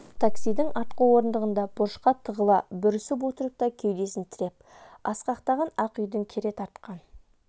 таксидің артқы орындығында бұрышқа тығыла бүрісіп отырып та кеудесін тіреп асқақтаған ақ үйдің кере тартқан